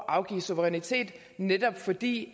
afgive suverænitet netop fordi